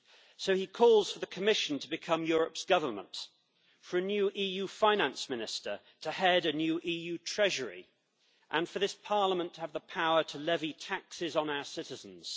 So he calls for the Commission to become Europe's government, for a new EU Finance Minister to head a new EU Treasury, and for this Parliament to have the power to levy taxes on our citizens.